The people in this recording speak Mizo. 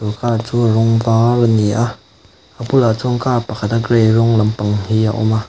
chu car chu a rawng var ani a a bul ah chuan car pakhat a gray rawng lampang hi a awm a.